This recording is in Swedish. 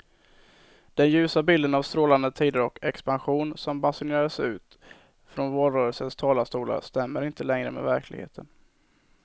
Den ljusa bilden av strålande tider och expansion som basunerades ut från valrörelsens talarstolar stämmer inte längre med verkligheten.